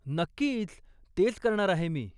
नक्कीच, तेच करणार आहे मी.